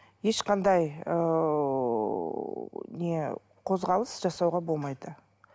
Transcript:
ешқандай ыыы не қозғалыс жасауға болмайды